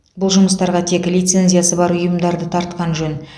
бұл жұмыстарға тек лицензиясы бар ұйымдарды тартқан жөн